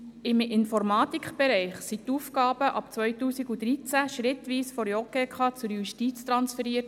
Im Informatikbereich wurden die Aufgaben ab 2013 schrittweise von der JGK zur Justiz transferiert.